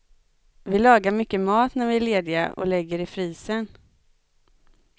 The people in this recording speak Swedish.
Vi lagar mycket mat när vi är lediga och lägger i frysen.